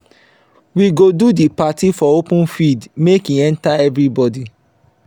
we go do di party for open field make e enta everybodi